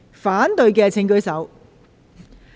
反對的請舉手。